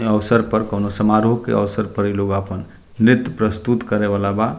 यहाँ औसर पर कोनो समारोह के अवसर पर इ लोग आपन नृत्य प्रस्तुत करे बला बा।